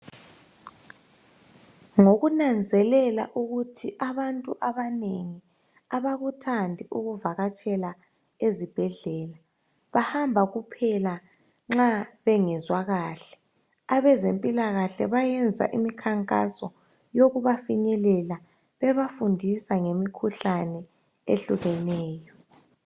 Ngokunanzelela ukuthi abantu abanengi abakuthandi ukuvakatshela ezibhedlela bahamba kuphela nxa bengezwa kahle abezempilakahle bayenza imikhankaso yokubafinyelela bebafundisa ngemikhuhlane ehlukeneyo